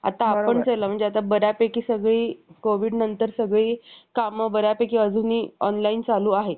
सामान्य लोकांच्या मराठी भाषेत आपला संदेश देणे स्वीकार्य आहे. असे त्यांनी ठरवले. ज्यावेळी उर्दू आणि फारसी एकत्र येऊन मराठी नष्ट करण्याचे काम करत होते. त्याचवेळी संस्कृतचा,